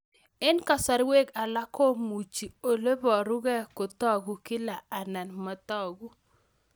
Eng' kasarwek alak komuchi ole parukei kotag'u kila anan matag'u